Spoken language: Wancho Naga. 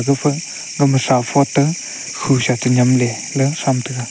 gapha kama throuphote khusa tenyem le letham taiga.